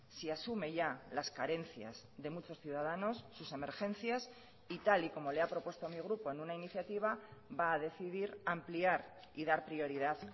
si asume ya las carencias de muchos ciudadanos sus emergencias y tal y como le ha propuesto mi grupo en una iniciativa va a decidir ampliar y dar prioridad